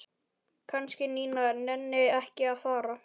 Kannski Nína nenni ekki að fara.